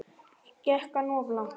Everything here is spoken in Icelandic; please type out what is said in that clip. Gekk hann of langt?